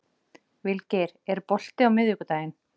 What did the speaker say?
Vilgeir, er bolti á miðvikudaginn?